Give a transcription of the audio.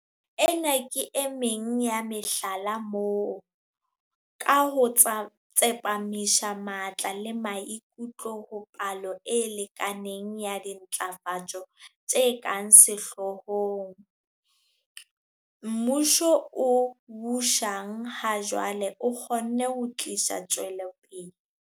Ena ke emeng ya mehlala moo, ka ho tsepamisa matla le maikutlo ho palo e lekaneng ya dintlafatso tse ka sehloohong, mmuso o busang ha jwale o kgonne ho tlisa tswelopele.